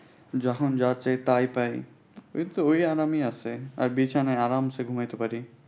যখন যা চাই তাই পাই। ঐতো ঐ আরামেই আছে। আর বিছানায় আরামছে ঘুমাইতে পাড়ি।